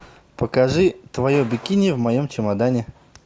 покажи твое бикини в моем чемодане